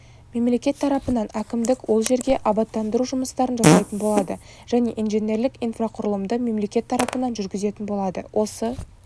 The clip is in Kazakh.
мемлекет тарапынан әкімдік ол жерге абаттандыру жұмыстарын жасайтын болады және инженерлік-инфрақұрылымды мемлекет тарапынан жүргізетін болады осы